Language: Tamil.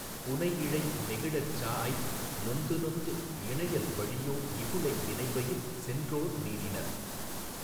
புனைஇழை நெகிழச்சாஅய் நொந்துநொந்து இனையல் வழியோ இகுளை வினைவயின் சென்றோர் நீடினர்